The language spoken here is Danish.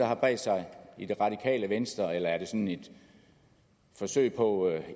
har bredt sig i det radikale venstre eller er det sådan et forsøg på